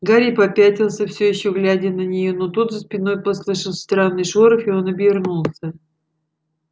гарри попятился всё ещё глядя на неё но тут за спиной послышался странный шорох и он обернулся